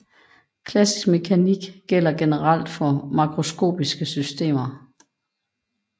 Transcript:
Klassisk mekanik gælder generelt for makroskopiske systemer